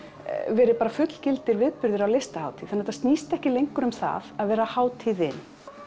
verið fullgildir viðburðir á Listahátíð þannig að þetta snýst ekki lengur um það að vera hátíðin